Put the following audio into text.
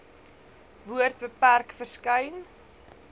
woord beperk verskyn